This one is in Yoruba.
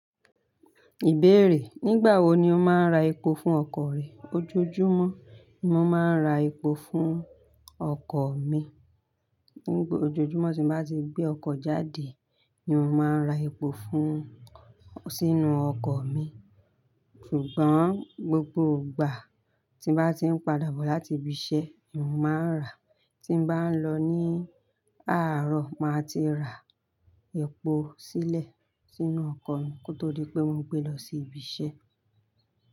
Ìbéèrè: Nígbà wo ni o máa ń ra epo fún ọkọ̀ rẹ? Ojoojúmọ́ ni mo máa ń ra epo fún ọkọ̀ mi. Ojoojúmọ́ tí n bá ti gbé ọkọ̀ jáde ni mo máa ń ra epo fún sínú ọkọ̀ mi. Ṣùgbọ́n gbogbo ìgbà tí n bá ti ń padà bọ̀ láti ibi iṣẹ́, ni mo máa ń rà á. Tí n bá ń lọ ní àárọ̀, màá ti rà epo sílẹ̀ sínú ọkọ̀ mi kó tó di pé mo gbé lọ sí ibi iṣẹ́.